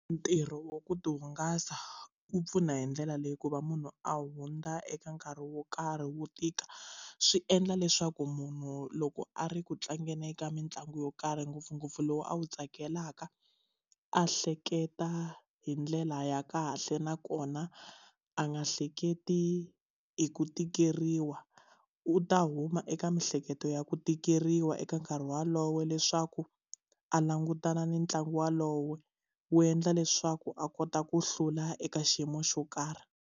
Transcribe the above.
Ntirho wa ku tihungasa wu pfuna hi ndlela leyi ku va munhu a hundza eka nkarhi wo karhi wo tika swi endla leswaku munhu loko a ri ku tlangeni eka mitlangu yo karhi ngopfungopfu lowu a wu tsakelaka a hleketa hi ndlela ya kahle nakona a nga hleketi hi ku tikeriwa u ta huma eka miehleketo ya ku tikeriwa eka nkarhi wolowo leswaku a langutana ni ntlangu wolowo wu endla leswaku a kota ku hlula eka xiyimo xo karhi.